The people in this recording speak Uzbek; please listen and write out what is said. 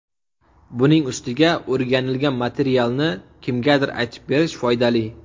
Buning ustiga o‘rganilgan materialni kimgadir aytib berish foydali.